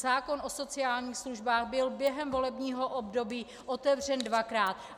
Zákon o sociálních službách byl během volebního období otevřen dvakrát.